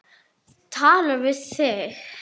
Tala við þig.